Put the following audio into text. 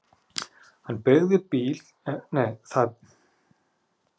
Það beygði bíll inn á planið og staðnæmdist hjá fæðingardeildinni.